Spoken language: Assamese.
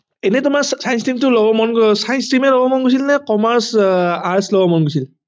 এনেই তোমাৰ science stream টো লব মন science stream এ লব মন গৈছিল নে commerce arts লব মন গৈছিল